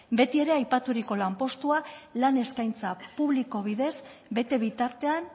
beti ere aipaturiko lanpostua lan eskaintza publiko bidez bete bitartean